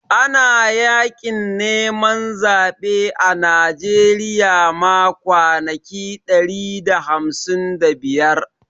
Ana Yaƙin neman zaɓe a Najeriya ma kwanaki ɗari da hamsin da biyar